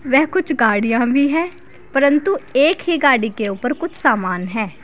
वह कुछ गाड़ियां भी है परंतु एक ही गाड़ी के ऊपर कुछ सामान है।